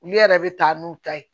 Olu yɛrɛ bɛ taa n'u ta ye